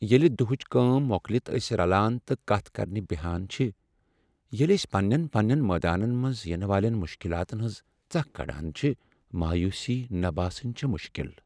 ییٚلہ دۄہٕچ کٲم مۄکلتھ أسۍ رلان تہٕ کتھ کرنہ بہان چھ، ، ییٚلہ أسۍ پنٛنٮ۪ن پنٛنٮ۪ن مٲدانن منٛز ینہٕ والٮ۪ن مشکلاتن ہنز ژكھ كڈان چھِ ، مویوٗسی نہٕ باسٕنۍ چُھ مُشكِل ۔